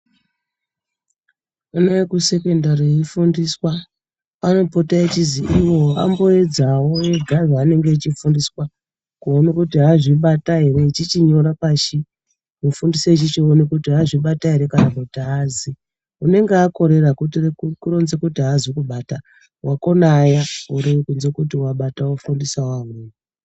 Vana vekusekendari veifundiswa vanopota vechizi ivo vamboedzawo vega zvaanenge echifundiswa kuona kuti azvibata ere echichinyora pasi. Mufundisi echichiona kuti azvibata ere kana kuti aazi. Unenge akorera kuronza kuti aazi kubata. Wakona uya unoratidza kuti wabata ofundisawo vamweni.